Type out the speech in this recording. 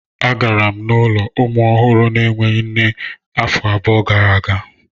Agara m n'ụlọ ụmụ ọhụrụ na-enweghị nne afọ abụọ gara aga.